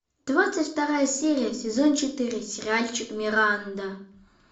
двадцать вторая серия сезон четыре сериальчик миранда